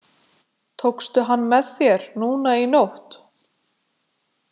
Tókstu hann með þér núna í nótt?